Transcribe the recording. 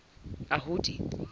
ahudi